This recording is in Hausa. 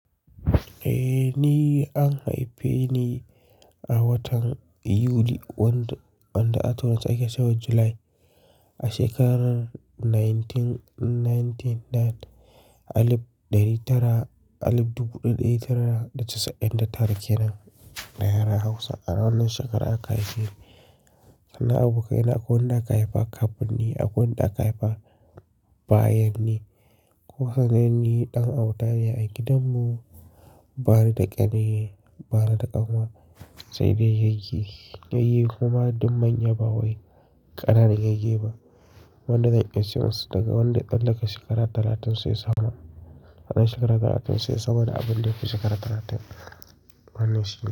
Eh ni an haife ni a watan Yuli, wanda a Turance ake cewa July a shekarar nineteen ninety nine, alif dari tara, alif dubu ɗari tara da casa'in da tara kenan da yaren Hausa a wannan shekaran aka haife ni. Sannan abokaina akwai wanda aka haifa kafin ni, akwai wanda aka haifa bayan ni. Kunsan ni ɗan auta ne a gidan mu bani da ƙani, bani da ƙanwa sai dai yayyi. Yayyi kuma duk manya ba wai ƙananan yayyi ba. Wanda zan iya siyan su daga wanda ya tsallaka shekara talatin sai sama. Anan shekaru talatin sai sama da abin da ya fi shekaru talatin. Wannan shi ne.